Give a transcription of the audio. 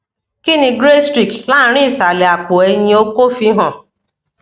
kini grey streak lanrin isale apo eyin oko fi han